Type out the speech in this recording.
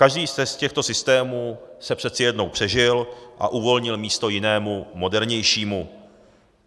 Každý z těchto systémů se přeci jednou přežil a uvolnil místo jinému, modernějšímu.